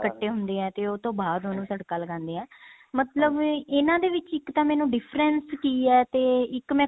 ਕੱਟੇ ਹੁੰਦੇ ਹੈ ਤੇ ਉਹ ਤੋਂ ਬਾਅਦ ਉਹਨੂੰ ਤੜਕਾ ਲਗਾਉਦੇ ਹਾਂ ਮਤਲਬ ਇਹਨਾ ਦੇ ਵਿੱਚ ਇੱਕ ਤਾਂ ਮੈਨੂੰ difference ਕੀ ਹੈ ਤੇ ਇੱਕ ਮੈਂ